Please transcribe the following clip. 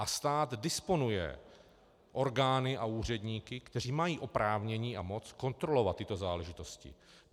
A stát disponuje orgány a úředníky, kteří mají oprávnění a moc kontrolovat tyto záležitosti.